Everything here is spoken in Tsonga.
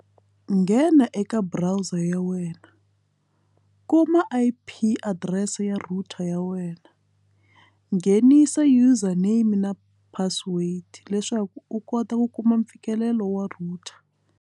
Nghena eka browser ya wena kuma i_p adirese ya router ya wena nghenisa user name na password leswaku u kota ku kuma mfikelelo wa router.